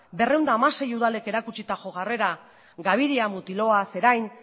berrehun eta hamasei udalek erakutsitako jarrera gabiria mutiloa zerain